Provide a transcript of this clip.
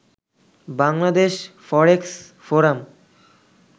Bangladesh forex forum